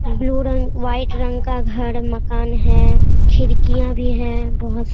blue रंग white रंग का घर मकान है खिड़कियां भी हैं बहुत --